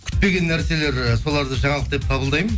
күтпеген нәрселер ы соларды жаңалық деп қабылдаймын